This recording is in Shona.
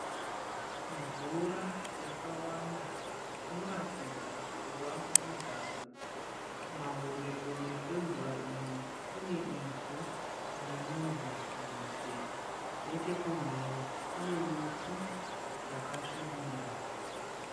Mvura yakawanda inoratidza kuva mudhamhu. Kumahombe kombe kwemvura iyi kune ivhu rinonzi nhope. Nechekumhiri kune miti yakasvibira.